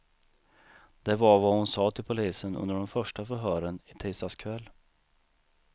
Det var vad hon sa till polisen under de första förhören i tisdags kväll.